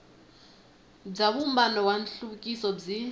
bya vumbano wa nhluvukiso byi